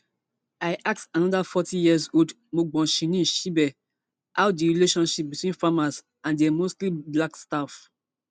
i ask anoda forty years old mbongiseni shibe how di relationship between farmers and dia mostly black staff